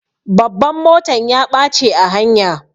Babban motan ya ɓache a hanya.